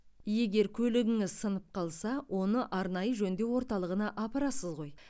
егер көлігіңіз сынып қалса оны арнайы жөндеу орталығына апарасыз ғой